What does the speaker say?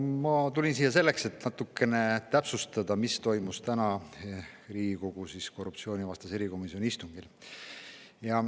Ma tulin siia selleks, et natukene täpsustada, mis toimus täna Riigikogu korruptsioonivastase erikomisjoni istungil.